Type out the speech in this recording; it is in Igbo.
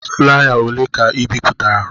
Flaya ole ka ị bipụtara?